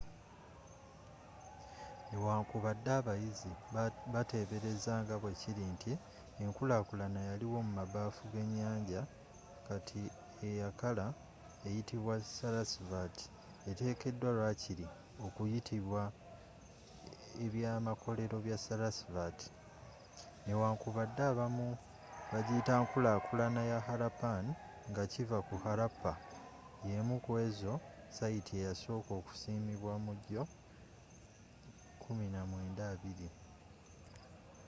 newankubadde abayizi batebereza nga bwekiri nti enkulakulana yaliwo mumabaafu genyanja kati eyakala eyitibwa sarasvati etekeddwa lwakiri okuyitibwa ebyamakolero bya sarasvati newankubadde abamu bagiyita nkulakulana ya harappan ngakiva ku harappa yemu ku ezo sayiti eyasooka okusimibwa mu gyo 1920